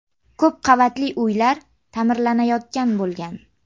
Ko‘p qavatli uylar ta’mirlanayotgan bo‘lgan.